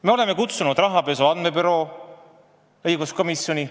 Me oleme kutsunud rahapesu andmebüroo inimesed õiguskomisjoni.